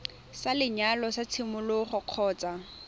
sa lenyalo sa tshimologo kgotsa